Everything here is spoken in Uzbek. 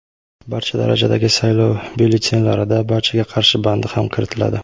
barcha darajadagi saylov byulletenlarida "Barchaga qarshi" bandi ham kiritiladi.